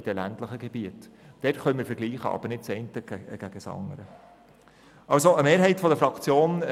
Der nächste Fraktionssprecher ist Grossrat Mentha für die SP-JUSO-PSA-Fraktion.